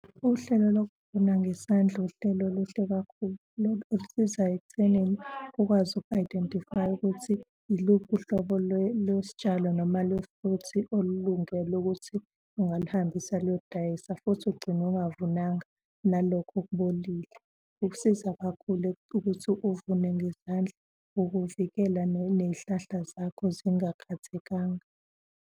Uhlelo lokuvuna ngesandla uhlelo oluhle kakhulu lolu olisizayo ekuthenini ukwazi uku-identify-a ukuthi iluphi uhlobo lwesitshalo noma lwe-fruit olulungele ukuthi ungaluhambisa luyodayisa futhi ugcine ungavunanga nalokho okubolile. Kukusiza kakhulu ukuthi uvune ngezandla. Ukuvikela ney'hlahla zakho zingakhathekanga.